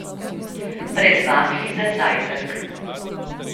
Pred vaflji za zajtrk?